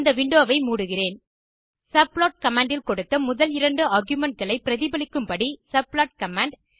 இந்த விண்டோ வை மூடுகிறேன் சப்ளாட் கமாண்ட் இல் கொடுத்த முதல் இரண்டு argumentகளை பிரதிபலிக்கும்படி சப்ளாட் கமாண்ட்